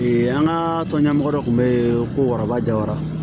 an ka tɔn ɲɛmɔgɔ dɔ tun bɛ yen ko waraba ja wara